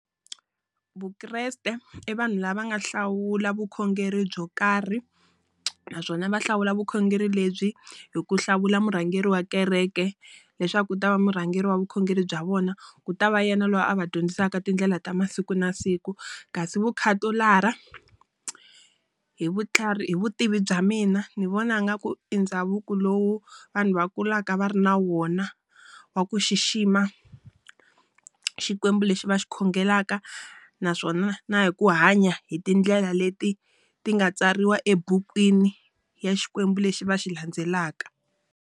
Vukreste i vanhu lava nga hlawula vukhongeri byo karhi. Naswona va hlawula vukhongeri lebyi hi ku hlawula murhangeri wa kereke, leswaku ku ta va murhangeri wa vukhongeri bya vona. Ku ta va yena loyi a va dyondzisaka tindlela ta masiku na siku. Kasi vukhatolara hi vutlhari hi vutivi bya mina, ni vona ngaku i ndhavuko lowu vanhu va kulaka va ri na wona, wa ku xixima xikwembu lexi va xi khongelaka naswona na hi ku hanya hi tindlela leti ti nga tsariwa ebukwini ya xikwembu lexi va xi landzelaka.